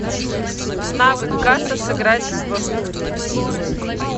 навык касса сыграть в